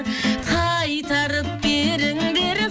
қайтарып беріңдер